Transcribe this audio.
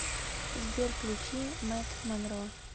сбер включи мэтт монро